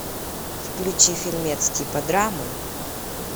включи фильмец типа драмы